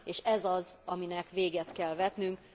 És ez az, aminek véget kell vetnünk.